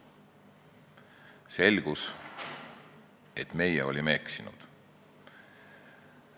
Selgus, et me olime eksinud.